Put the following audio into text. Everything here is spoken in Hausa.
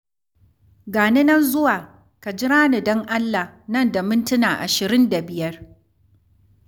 Ga ni nan zuwa, ka jira ni don Allah nan da mintuna ashirin da biyar.